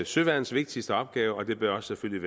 søværnets vigtigste opgave og det bør selvfølgelig